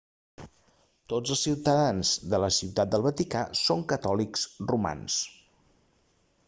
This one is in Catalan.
tots els ciutadans de la ciutat del vaticà són catòlics romans